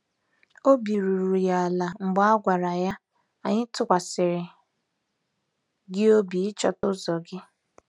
Obi ruru ya ala mgbe a gwara ya, "Anyị tụkwasịrị gị obi ịchọta ụzọ gị."